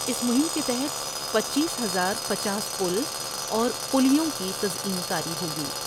اس مہم کے تحت پنچیس ہزار پنچاس پل اور پلیوں کی تزئین کاری ہوگی ۔